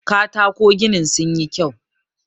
katako ginin sun yi kyau